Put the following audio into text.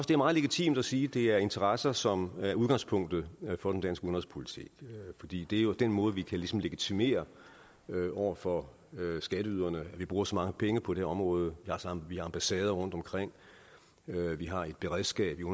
det er meget legitimt at sige at det er interesser som er udgangspunktet for den danske udenrigspolitik fordi det jo er den måde vi ligesom kan legitimere over for skatteyderne at vi bruger så mange penge på det område vi har ambassader rundt omkring vi har et beredskab